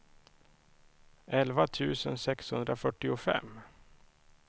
elva tusen sexhundrafyrtiofem